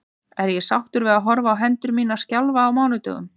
Er ég sáttur við að horfa á hendur mínar skjálfa á mánudögum?